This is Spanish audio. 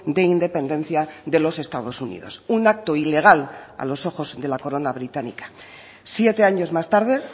de independencia de los estados unidos un acto ilegal a los ojos de la corona británica siete años más tarde